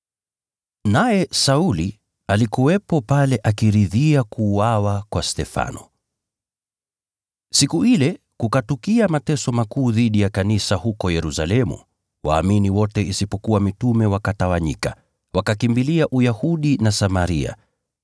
Naye Sauli alikuwepo pale, akiridhia kuuawa kwa Stefano. Kanisa Lateswa Na Kutawanyika Siku ile kukatukia mateso makuu dhidi ya kanisa huko Yerusalemu, waumini wote isipokuwa mitume wakatawanyika, wakakimbilia Uyahudi na Samaria.